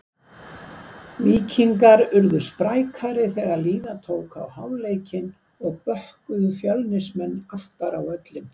Víkingar urðu sprækari þegar líða tók á hálfleikinn og bökkuðu Fjölnismenn aftar á völlinn.